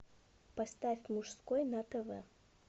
поставь мужской на тв